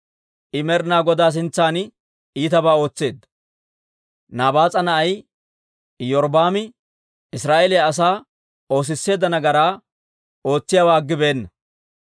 I Med'ina Godaa sintsan iitabaa ootseedda; Nabaas'a na'ay Iyorbbaami Israa'eeliyaa asaa oosisseedda nagaraa ootsiyaawaa aggibeenna.